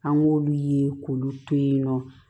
An k'olu ye k'olu to yen nɔ